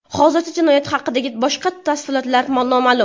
Hozircha jinoyat haqidagi boshqa tafsilotlar noma’lum.